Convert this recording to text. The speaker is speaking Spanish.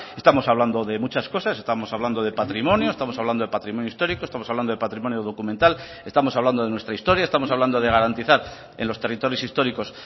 estamos hablando de muchas cosas estamos hablando de patrimonio estamos hablando de patrimonio histórico estamos hablando de patrimonio documental estamos hablando de nuestra historia estamos hablando de garantizar en los territorios históricos